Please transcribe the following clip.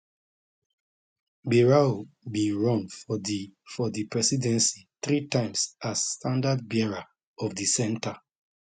bayrou bin run for di for di presidency three times as standardbearer of di centre